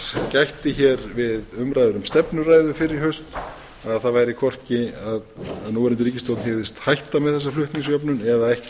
gætti hér við umræður um stefnuræðu fyrr í haust að það væri hvorki að núverandi ríkisstjórn hygðist hætta með þessa flutningsjöfnun eða ekki